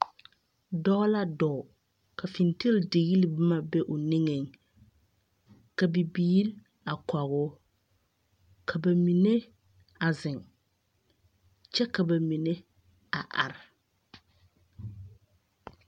Dɔɔ la dɔɔ, ka fenteldigli boma be o neŋeŋ, ka bibiiri a kɔge o, ka ba mine, a zeŋ, kyɛ ka ba mine a are.